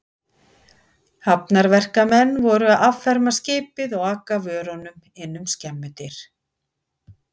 Hafnarverkamenn voru að afferma skipið og aka vörunum inn um skemmudyr.